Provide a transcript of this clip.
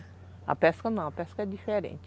A pesca não, a pesca é diferente.